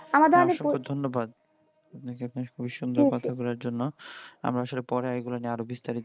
অসংখ্য ধন্যবাদ আপনাকে আপনার পরিসুন্দর কথা বলার জন্য আমরা আসলে পরে এগুলো নিয়ে আরো বিস্তারিত